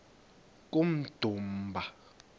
kummdumba